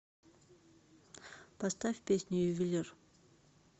поставь песню ювелир